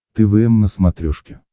твм на смотрешке